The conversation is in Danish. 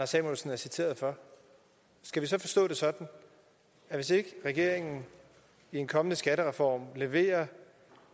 samuelsen er citeret for skal vi så forstå det sådan at hvis ikke regeringen i en kommende skattereform leverer